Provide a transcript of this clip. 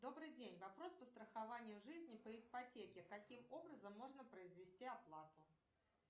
добрый день вопрос по страхованию жизни по ипотеке каким образом можно произвести оплату